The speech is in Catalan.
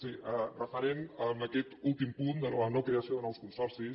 sí referent a aquest últim punt de la no creació de nous consorcis